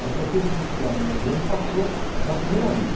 Ela prestou esse vestibular no meio do ano e passou na primeira lista.